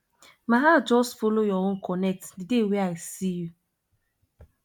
my heart just folo your own connect di day wey i see you